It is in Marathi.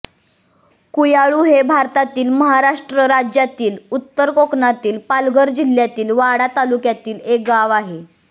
कुयाळु हे भारतातील महाराष्ट्र राज्यातील उत्तर कोकणातील पालघर जिल्ह्यातील वाडा तालुक्यातील एक गाव आहे